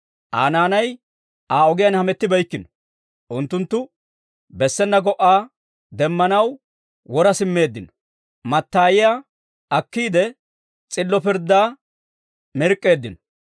Aa naanay Aa ogiyaan hamettibeykkino. Unttunttu bessena go"aa demmanaw wora simmeeddino; mattayiyaa akkiide, s'illo pirddaa mirk'k'eeddino.